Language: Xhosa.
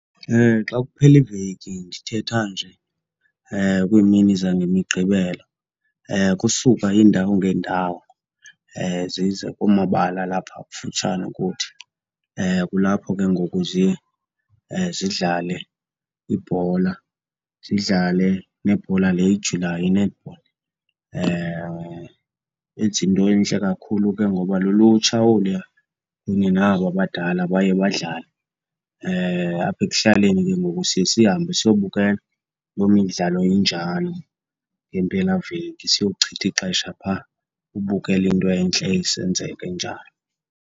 Xa kuphela iveki, ndithetha nje kwiimini zangemiGqibelo, kusuka iindawo ngeendawo zize kumabala alapha kufutshane kuthi. Kulapho ke ngoku ziye zidlale ibhola, zidlale nebhola le ijulayo, i-netball. Benza into entle kakhulu ke ngoba lulutsha oluya, kunye naba badala baye badlale. Apha ekuhlaleni ke ngoku siye sihambe siyobukela loo midlalo injalo ngempelaveki, siyowuchitha ixesha phaa. Ubukele into entle isenzeka, injalo